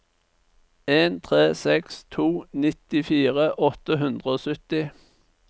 en tre seks to nittifire åtte hundre og sytti